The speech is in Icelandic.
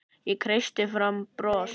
Ég kreisti fram bros.